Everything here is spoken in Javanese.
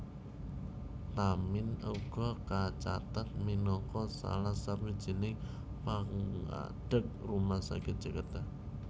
Tamin uga kacathet minangka salah sawijining pangadeg Rumah Sakit Jakarta